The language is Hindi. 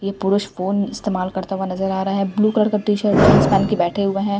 ये पुरुष फोन इस्तेमाल करता हुआ नजर आ रहा है ब्लू का टी शर्ट जींस पहन के बैठे हुए हैं।